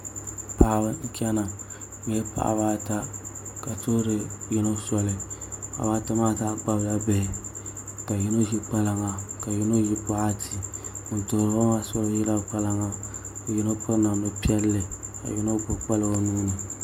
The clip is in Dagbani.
Paɣaba n chɛna bi nyɛla paɣaba ata ka tuhuri yino soli paɣaba ata maa zaa kpabila bihi ka yino ʒi kpalaŋa ka yino ʒi boɣati ŋun tuhuriba soli maa ʒila kpalaŋa ka yino ʒi piri namdi piɛlli ka yino gbubi kpalaŋa o nuuni